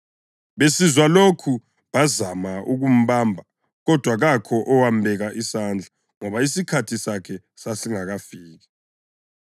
Besizwa lokhu bazama ukumbamba kodwa kakho owambeka isandla ngoba isikhathi sakhe sasingakafiki.